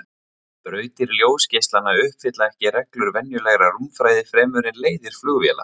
Brautir ljósgeislanna uppfylla ekki reglur venjulegrar rúmfræði fremur en leiðir flugvéla.